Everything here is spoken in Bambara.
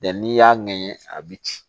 n'i y'a ŋɛɲɛ a bi ci